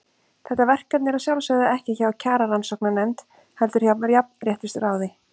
Þetta verkefni er að sjálfsögðu ekki hjá Kjararannsóknarnefnd, heldur hjá Jafnréttisráði.